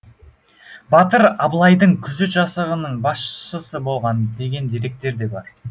батыр абылайдың күзет жасағының басшысы болған деген деректер де бар